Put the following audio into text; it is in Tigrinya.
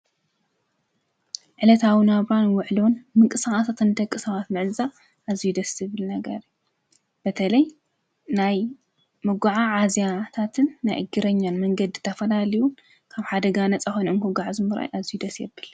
ዕለት ኣውና ኣብራን ውዕሎን ምቂ ሳዓትትን ተቂ ሰዋት ምዕዛ እዙይ ደስ ብል ነገር በተለይ ናይ መጕዓ ዓዚያታትን ናይ እጊረኛን መንገድ ተፈናሊዩን ካም ሓደጋ ነፃሆኑ እንክጕዕ ዝሙራይ ኣዙይ ደስየብል።